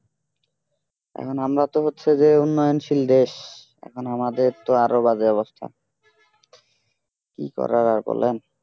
এখন আমরা তো হচ্ছে যে উন্নয়নশীল দেশ এখন আমাদের তো আরো বাজে অবস্থা কি করার আর বলেন